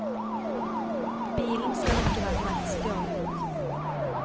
Bilen skal ikke være meldt stjålet.